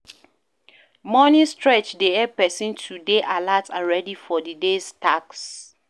Morning stretch dey help person to dey alert and ready for di day's tasks